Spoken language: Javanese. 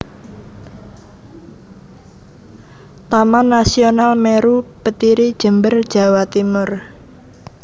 Taman Nasional Meru Betiri Jember Jawa Timur